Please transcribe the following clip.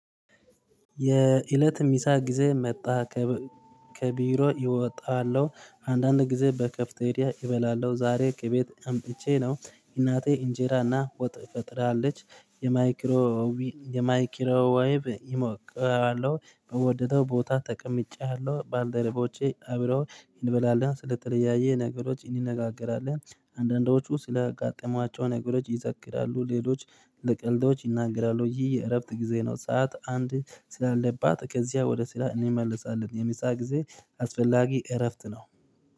የእለት ሚሳ ጊዜ መጣ። ከቢሮ ኢወጣለሁ አንዳንድ ጊዜ በከፍቴሪያ ኢበላለሁ ዛሬ ከቤት አምጥቼ ነው እናቴ እንጀራና ወጥ ፈጥራለች። የማይክሮዊ የማይኪሮ ወይብ ኢሞቃለሁ በወደደው ቦታ ተቀምጬያለሁ ባልደረቦቼ አብረው እንበላለን ስለተለያየ ነገሮች ኢኒነጋገራለን። አንዳንዶቹ ስላጋጠሟቸው ነገሮች ይዘክራሉ ሌሎች ለቀልዶች ይናገራሉ። ይህ የእረፍት ጊዜ ነው። ሰዓት አንድ ስላለባት ከዚያ ወደ ስራ ኢኒመለሳለን። የሚሳ ጊዜ አስፈላጊ እረፍት ነው